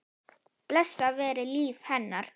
Blessað veri líf hennar.